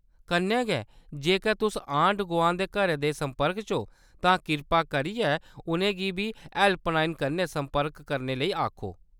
कन्नै गै, जेकर तुस आंढ-गुआंढ दे घरें दे संपर्क च ओ, तां किरपा करियै उंʼनेंगी बी हैल्पलाइन कन्नै संपर्क करने लेई आखो।